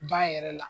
Ba yɛrɛ la